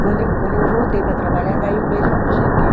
Quando eu, quando eu voltei para trabalhar, daí um mês eu aposentei.